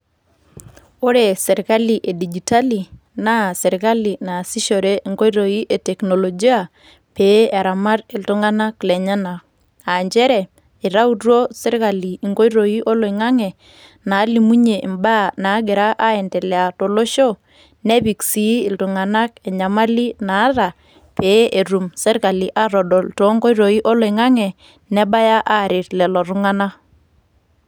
Ore sirkali edijitali, naa sirkali naasishore enkoitoi e teknolojia ,pee eramat iltung'anak lenyanak. Ah njere, itautuo sirkali inkoitoi oloing'ang'e, nalimunye imbaa nagira aiendelea tolosho, nepik si iltung'anak enyamali naata, pe etum sirkali atodol tonkoitoii oloing'ang'e, nebaya aaret lelo tung'anak.